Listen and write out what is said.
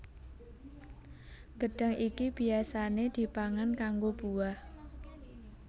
Gedhang iki biyasané dipangan kanggo buah